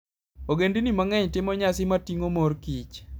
Ogendini mang'eny timo nyasi moting'o mor kich.